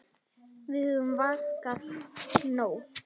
Við höfum vakað nóg.